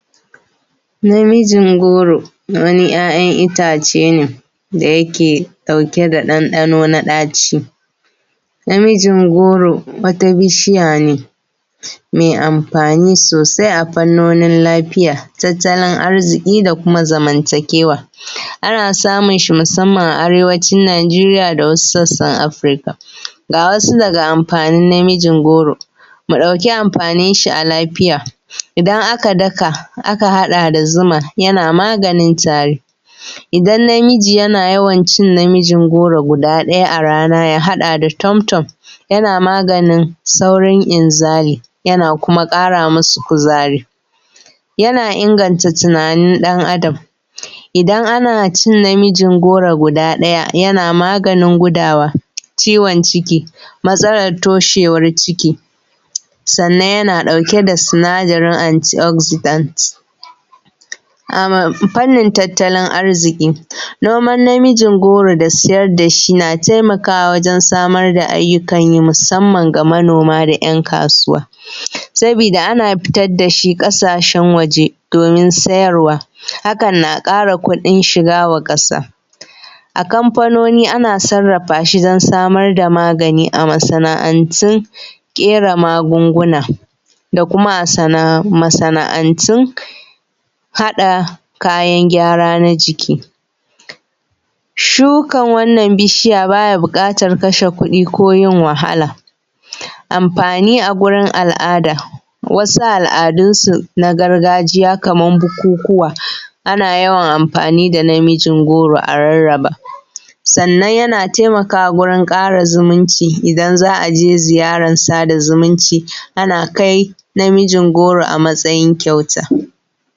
Namijin goro wani 'ya'yan itace ne da yake ɗauke da ɗanɗano na ɗaci, namijin goro wata bishiya ne mai amfani sosai a fannonin lafiya, tattalin arzuki da kuma zamantakewa. Ana samun shi musanman a arewacin Najeriya da wasu sassan Afirika. Ga wasu daga amfanin namijin goro. Mu ɗauki amfanin shi a lafiya. Idan aka daka aka haɗa da zuma yana maganin tari, idan namiji yana yawan cin namijin goro guda ɗaya a rana a haɗa da tom tom yana maganin saurin inzali. Yana kuma ƙara musu kuzari, yana inganta tunanin ɗan Adam. Idan ana cin namijin goro guda ɗaya yana maganin gudawa, ciwon ciki, matsalar toshewar ciki, sannan yana ɗauke da sinadarin anti oxidants. Fannin tattalin arzuƙi, noman namijin goro da siyar dashi yana taimakawa wajen samar da ayyukan yi musanman ga manoma da 'yan kasuwa sabida ana fitar dashi ƙasashen waje domin siyarwa hakan na ƙara kuɗin shiga wa ƙasa. A kamfanoni ana sarrafashi don samar da magani a masana'antun ƙera magunguna da kuma a masana'antun hada kayan gyara na jiki. Shukan wannan bishiya baya buƙatar kashe kuɗi ko yin wahala. Amfani a wurin al'ada wasu al'adunsu na gargajiya kamar bukukuwa ana yawan amfani da namijin goro a rarraba sannan yana taimakawa wajen ƙara zumunci idan za a je sada zumunci a na kai namijin goro a matsayin kyauta.